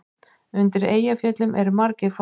Undir Eyjafjöllum eru margir fossar.